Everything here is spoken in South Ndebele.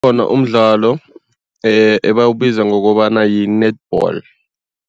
Umdlalo ebawubiza ngokobana yi-netball.